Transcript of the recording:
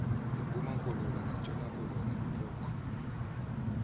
lempumakoloni nentshonakoloni pococ